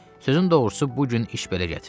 Sözün doğrusu bu gün iş belə gətirdi.